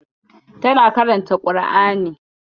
Tana karanta ƙur'ani.